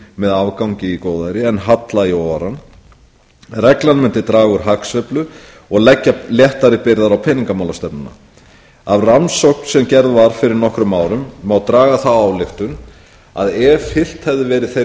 með afgangi í góðæri en halla í óáran reglan mundi draga úr hagsveiflu og leggja léttari byrðar á peningamálastefnuna af rannsókn sem gerð var fyrir nokkrum árum má draga þá ályktun að ef fylgt hefði verið þeirri stefnu